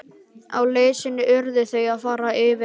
Á leið sinni urðu þau að fara yfir á.